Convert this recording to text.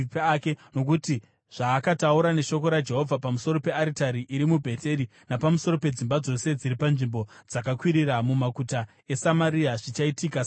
Nokuti zvaakataura neshoko raJehovha pamusoro pearitari iri muBheteri napamusoro pedzimba dzose dziri panzvimbo dzakakwirira mumaguta eSamaria zvichaitika saizvozvo.”